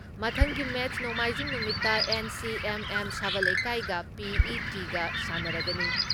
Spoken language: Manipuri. ꯃꯊꯪꯒꯤ ꯃꯦꯠꯁ ꯅꯣꯡꯃꯥꯏꯖꯤꯡ ꯅꯨꯃꯤꯠꯇ ꯑꯦꯟ.ꯁꯤ.ꯑꯦꯝ.ꯑꯦꯝ ꯁꯕꯜ ꯂꯩꯀꯥꯏꯒ ꯄꯤ.ꯏ.ꯇꯤꯀ ꯁꯥꯟꯅꯔꯒꯅꯤ ꯫